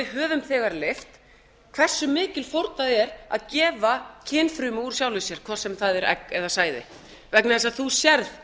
höfum þegar leyft hversu mikil fórn það er að gefa kynfrumu úr sjálfum sér hvort sem það er egg eða sæði vegna þess að þú sérð